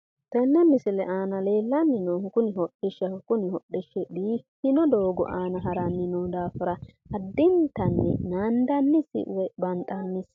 Tenne misile aana leellanni noohu kuni hodishshaho, kuni hodhishshu biiffino doogo aana haranni no daafira addintanni naandannisi woy banxannisi.